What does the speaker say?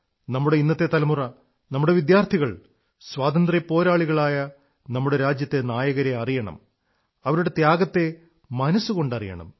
നമ്മുടെ ഇന്നത്തെ തലമുറ നമ്മുടെ വിദ്യാർഥികൾ സ്വാതന്ത്ര്യപ്പോരാളികളായ നമ്മുടെ രാജ്യത്തെ നായകരെ അറിയണം അവരുടെ ത്യാഗത്തെ മനസ്സുകൊണ്ടറിയണം